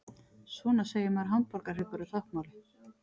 Svona segir maður hamborgarhryggur á táknmáli.